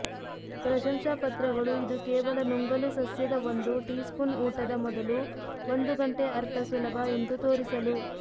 ಪ್ರಶಂಸಾಪತ್ರಗಳು ಇದು ಕೇವಲ ನುಂಗಲು ಸಸ್ಯದ ಒಂದು ಟೀಸ್ಪೂನ್ ಊಟದ ಮೊದಲು ಒಂದು ಗಂಟೆ ಅರ್ಥ ಸುಲಭ ಎಂದು ತೋರಿಸಲು